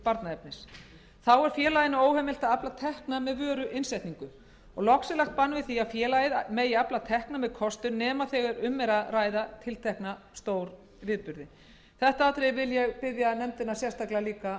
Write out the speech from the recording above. barnaefnis þá er félaginu óheimilt að afla tekna með vöruinnsetningu loks er lagt bann við því að félagið megi afla tekna með kostun nema þegar um er að ræða tiltekna stórviðburði þetta atriði vil ég biðja nefndina líka að